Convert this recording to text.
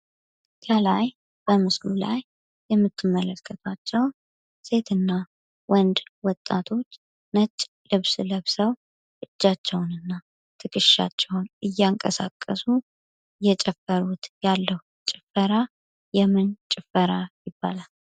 ከላይ በምስሉ ላይ የምትመለከቷቸው ሴትና ወንድ ወጣቶች ነጭ ልብስ ለብሰው እጃቸውን እና ትክሻቸውን እያንቀሳቀሱት ያለው እየጨፈሩት ያለው የምን ጭፈራ ይባላል?